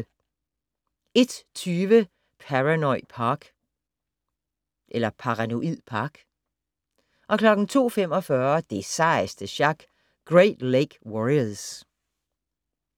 01:20: Paranoid Park 02:45: Det sejeste sjak - Great Lake Warriors